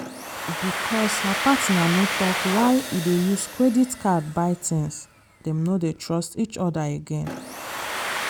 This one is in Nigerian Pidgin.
because her partner no talk why e dey use credit card buy things dem no dey trust each other again.